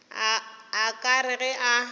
a ka re ge a